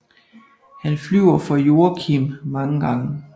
Han flyver for Joakim mange gange